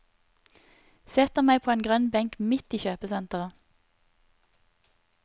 Setter meg på en grønn benk midt i kjøpesentret.